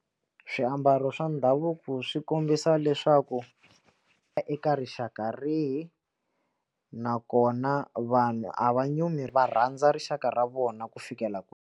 Swiambalo swa ndhavuko swi kombisa leswaku eka rixaka rihi nakona vanhu a va nyumi va rhandza rixaka ra vona ku fikela kwini.